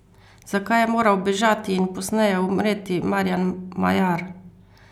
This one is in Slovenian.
Zakaj je moral bežati in pozneje umreti Marjan Majar?